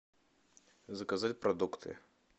заказать продукты